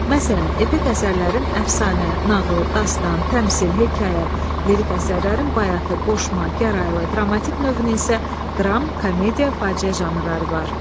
Məsələn, epik əsərlərin əfsanə, nağıl, dastan, təmsil, hekayə, lirik əsərlərin bayatı, qoşma, gəraylı, dramatik növünün isə dram, komediya, faciə janrları var.